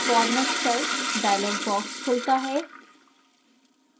format cells dialog box खुलता है